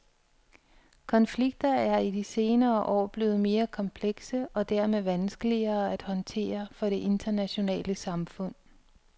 Konflikter er i de senere år blevet mere komplekse og dermed vanskeligere at håndtere for det internationale samfund.